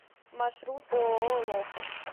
маршрут ооо локос